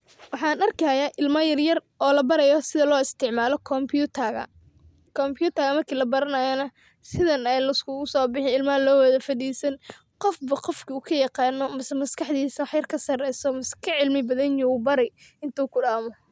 Waxaan arkayaa ilma yaryar oo la barayo sida loo isticmaalo kombiyuutarka. Kombiyuutarkana marka la baranayo, sidaan ayaa loo isugu soo baxaa oo loo wada fadhiistaa. Qof walba qofka uu ka yaqaan badan yahay ama maskaxdiisa ka sarreeyso, ama uu cilmi badan leeyahay, ayuu baraa inta uu ku dhammeeyo.